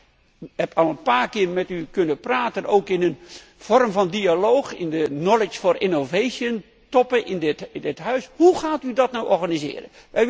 Ik heb al een paar keer met u kunnen praten, ook in de vorm van dialoog, op de knowledge for innovation toppen in dit Huis, hoe gaat u dat nu organiseren?